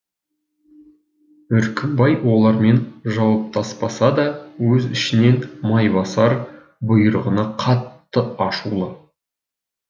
үркімбай олармен жауаптаспаса да өз ішінен майбасар бұйрығына қатты ашулы